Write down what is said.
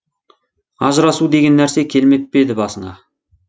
ажырасу деген нәрсе келмеп пе еді басыңа